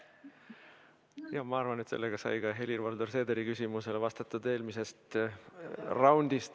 Ma arvan, et sellega sai vastatud ka Helir-Valdor Seederi küsimus eelmisest raundist.